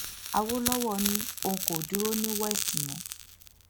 àwòlọwọ ni òun kò dúró ní west mọ